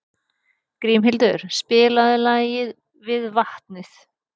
Grímhildur, spilaðu lagið „Við vatnið“.